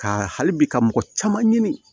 Ka hali bi ka mɔgɔ caman ɲini